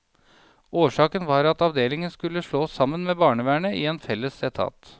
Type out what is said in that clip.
Årsaken var at avdelingen skulle slåes sammen med barnevernet i en felles etat.